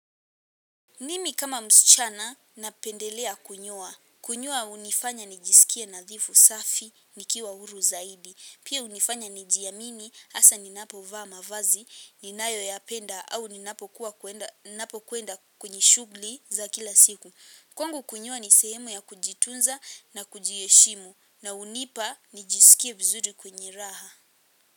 Mimi kama msichana napendelea kunyoa. Kunyoa unifanya nijisikie nadhifu safi nikiwa huru zaidi. Pia unifanya nijiamini asa ninapo vaa mavazi, ninayoyapenda au ninapo kuenda kwenye shugli za kila siku. Kwangu kunyoa ni sehemu ya kujitunza na kujiheshimu na unipa nijisikie vizuri kwenye raha.